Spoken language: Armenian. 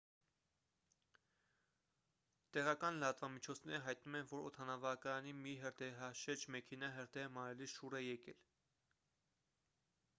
տեղական լրատվամիջոցները հայտնում են որ օդանավակայանի մի հրդեհաշեջ մեքենա հրդեհը մարելիս շուռ է եկել